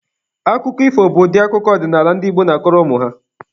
Akụkọ ifo bụ ụdị akụkọ ọdịnaala ndị Igbo na-akọrọ ụmụ ha.